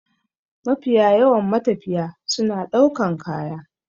Mafiya yawan matafiya suna ɗaukan kaya.